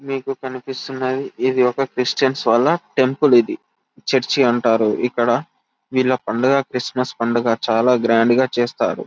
మీకు కనిపిస్తున్నది ఇది ఒక క్రిస్టియన్స్ వాళ్ళ టెంపుల్ ఇది చర్చి అంటారు ఇక్కడ వీళ్ళ పండుగ క్రిస్మస్ పండుగ చాలా గ్రాండ్గా చేస్తారు.